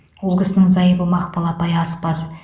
ол кісінің зайыбы мақпал апай аспаз